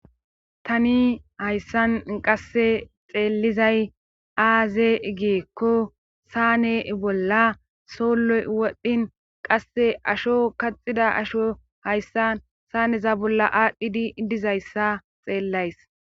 Tani hayssan qasse xeellizay aaze geekko saane bolla solloy wodhdhin qasse asho kaxida asho hayssan saaneza bolla aadhdhidi dizayssa xeellays.